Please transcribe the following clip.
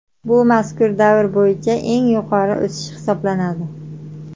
Bu mazkur davr bo‘yicha eng yuqori o‘sish hisoblanadi.